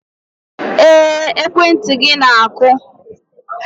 Ee, ekwentị gị na-akụ.